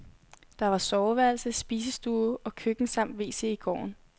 Der var soveværelse, spisestue og køkken samt wc i gården.